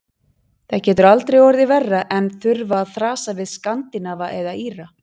Það getur aldrei orðið verra en þurfa að þrasa við Skandinava eða Íra.